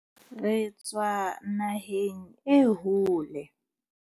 Re tswa naheng e hole.